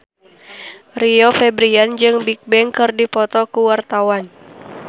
Rio Febrian jeung Bigbang keur dipoto ku wartawan